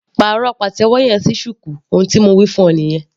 Pàrọ̀ pàtẹ́wọ́ yẹn sí shuku ohun tí mo wí fún ọ nìyẹn.